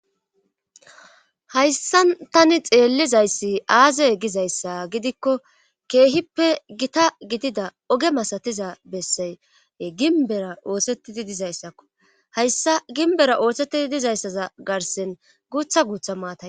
Jayssan tani xeellizayssi aazey gizayssa gidikko keehippe gita gidida oge masatiza bessaye ginbera oosetidi dizayssakko hayssa gimbera oohthetidi dizayssaza garsen guutha guutha maatay.